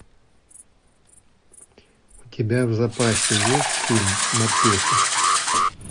у тебя в запасе есть фильм морпехи